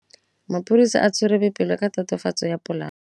Maphodisa a tshwere Boipelo ka tatofatsô ya polaô.